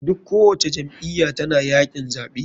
Duk ko wace jam iyya tana yakin zaɓe.